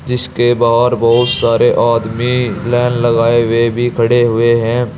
इसके बाहर बहुत सारे आदमी लाइन लगाए हुए भी खड़े हुए हैं।